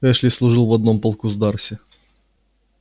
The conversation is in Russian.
эшли служил в одном полку с дарси